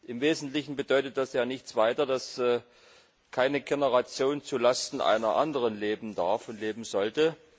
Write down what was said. Im Wesentlichen bedeutet das ja nichts weiter, als dass keine Generation zulasten einer anderen leben darf und leben sollte.